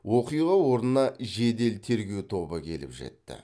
оқиға орнына жедел тергеу тобы келіп жетті